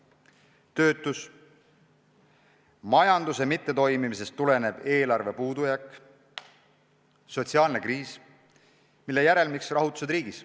Selle tagajärjed on töötus, majanduse mittetoimimisest tulenev eelarve puudujääk, sotsiaalne kriis, mille järelmiks omakorda on rahutused riigis.